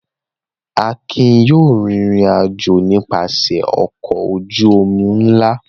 Akin yóò rìnrìn-àjò nípasẹ̀ ọkọ̀ ojú-omi ńlá!